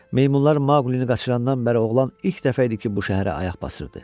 Meymunlar Maqlini qaçırandan bəri oğlan ilk dəfə idi ki, bu şəhərə ayaq basırdı.